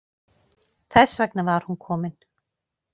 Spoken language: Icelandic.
Þess vegna var hún komin.